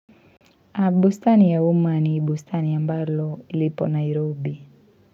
Bustani ya umma ni bustani ambayo ipo Nairobi.